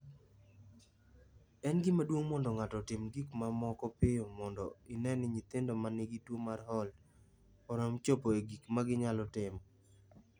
"En gima duong’ mondo ng’ato otim gik moko mapiyo mondo ine ni nyithindo ma nigi tuwo mar Holt Oram chopo e gik ma ginyalo timo."